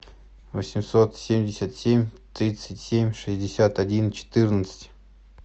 восемьсот семьдесят семь тридцать семь шестьдесят один четырнадцать